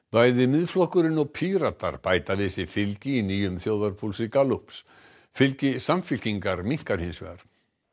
bæði Miðflokkurinn og Píratar bæta við sig fylgi í nýjum þjóðarpúlsi Gallups fylgi Samfylkingar minnkar hins vegar